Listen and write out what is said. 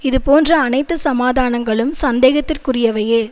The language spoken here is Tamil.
இதுபோன்ற அனைத்து சமாதானங்களும் சந்தேகத்திற்குரியவையே